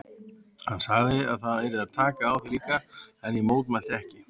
Hann sagði að það yrði að taka á því líka og ég mótmælti ekki.